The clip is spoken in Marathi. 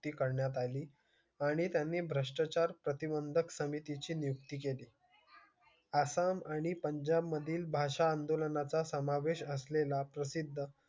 नियुक्ती करण्यात आली आणि त्यांनी भ्रष्टाचार प्रतिबंधक समिती ची नियुक्ती केली. आसाम आणि पंजाब मधील भाषा आंदोलना चा समावेश असलेला प्रसिद्ध